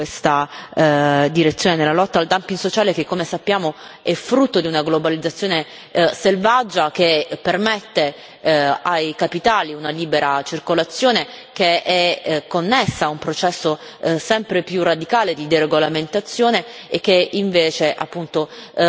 da fare in questa direzione della lotta al dumping sociale, che come sappiamo è frutto di una globalizzazione selvaggia che permette ai capitali una libera circolazione che è connessa a un processo sempre più radicale di deregolamentazione, erodendo invece